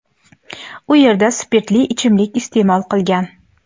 u yerda spirtli ichimlik iste’mol qilgan.